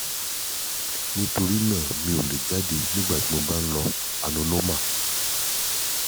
nítorí náà mi ò lè jáde nígbà tí mo bá ń lo anuloma